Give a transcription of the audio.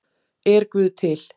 Er guð til